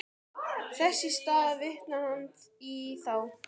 Þess í stað vitnar hann í þá.